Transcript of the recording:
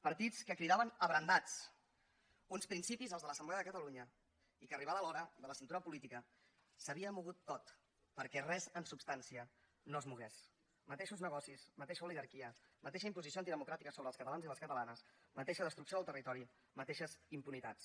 partits que cridaven abrandats uns principis els de l’assemblea de catalunya i que arribada l’hora de la cintura política s’havia mogut tot perquè res en substància no es mogués mateixos negocis mateixa oligarquia mateixa imposició antidemocràtica sobre els catalans i les catalanes mateixa destrucció del territori mateixes impunitats